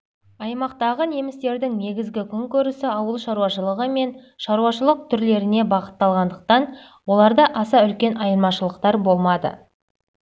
аймақтағы немістердің негізгі күнкөрісі ауыл шаруашылығы мен түрлі шаруашылық түрлеріне бағытталғандықтан оларда аса үлкен айырмашылықтар болмады